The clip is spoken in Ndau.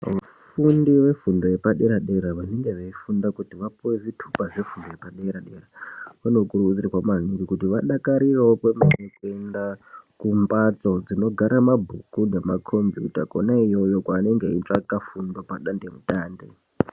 Vafundi vefundo yepadera dera vanenge veifunda kuti vapuwe zvitupa zvefundo yepadera dera vanokurudzirwa maningi kuti vadakarirewo kuenda kumhatso dzinogara mabhuku nemakombiyuta kwona iyoyo kwaanenge eitsvaka fundo padande mutande.